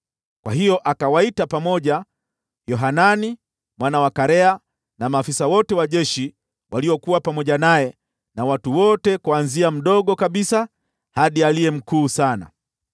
Kwa hiyo akawaita pamoja Yohanani mwana wa Karea, na maafisa wote wa jeshi waliokuwa pamoja naye na watu wote kuanzia mdogo kabisa hadi aliye mkuu sana.